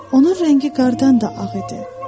Onun rəngi qardan da ağ idi.